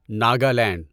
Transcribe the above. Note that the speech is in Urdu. ناگالینڈ